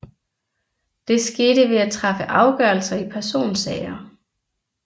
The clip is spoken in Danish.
Det skete ved at træffe afgørelser i personsager